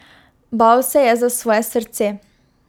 Bal se je za svoje srce.